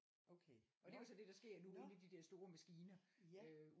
Okay nåh nåh ja